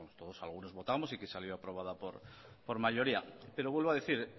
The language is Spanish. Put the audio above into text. algunos votamos y que salió aprobada por mayoría pero vuelvo a decir